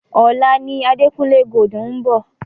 Ọ̀la ni Adekunle Gold ń bọ̀.